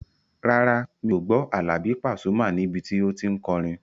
Rárá, mi ò gbọ́ Àlàbí Pasuma níbi tí o tí n kọrin